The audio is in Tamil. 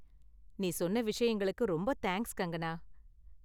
நீ சொன்ன விஷயங்களுக்கு ரொம்ப தேங்க்ஸ் கங்கணா.